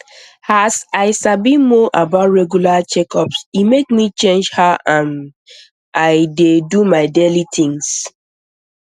as i sabi more about regular checkups e make me change how um i um dey do my daily things